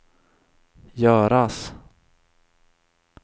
göras